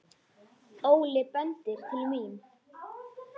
Óli bendir til mín.